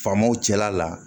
Faamaw cɛla la